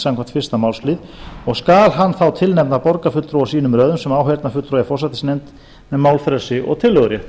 samkvæmt fyrsta málslið og skal hann þá tilnefna borgarfulltrúa úr sínum röðum sem áheyrnarfulltrúa í forsætisnefnd með málfrelsi og tillögurétt